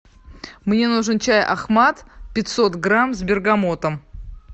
мне нужен чай ахмад пятьсот грамм с бергамотом